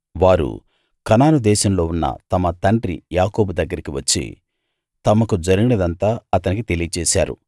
వారు కనాను దేశంలో ఉన్న తమ తండ్రి యాకోబు దగ్గరికి వచ్చి తమకు జరిగినదంతా అతనికి తెలియచేశారు